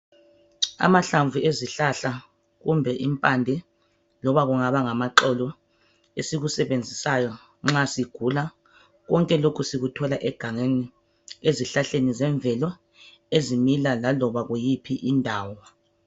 Amahlamvu ezihlahla kumbe impande loba kungaba ngama xolo esikusebenzisayo nxa sigula ,konke lokhu sikuthola egangeni ezihlahleni zemvelo ezimila laloba kuyiphi indawo.